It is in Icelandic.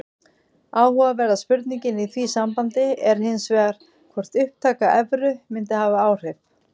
Áhugaverða spurningin í því sambandi er hins vegar hvort upptaka evru mundi hafa áhrif.